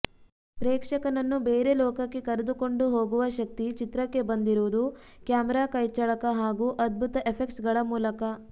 ಪ್ರೇಕ್ಷಕನನ್ನು ಬೇರೆ ಲೋಕಕ್ಕೆ ಕರೆದುಕೊಂಡು ಹೋಗುವ ಶಕ್ತಿ ಚಿತ್ರಕ್ಕೆ ಬಂದಿರುವುದು ಕ್ಯಾಮೆರಾ ಕೈಚಳಕ ಹಾಗೂ ಅದ್ಭುತ ಎಫೆಕ್ಟ್ಸ್ಗಳ ಮೂಲಕ